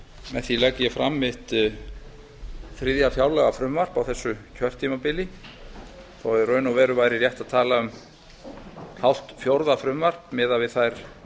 með því legg ég fram mitt þriðja fjárlagafrumvarp á þessu kjörtímabili þó að í raun og veru væri rétt að tala um hálft fjórða frumvarp miðað við þær